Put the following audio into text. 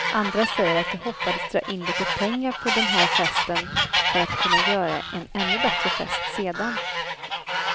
Andra säger att de hoppades dra in lite pengar på den här festen för att kunna göra en ännu bättre fest sedan.